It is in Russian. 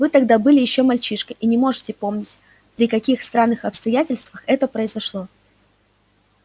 вы тогда были ещё мальчишкой и не можете помнить при каких странных обстоятельствах это произошло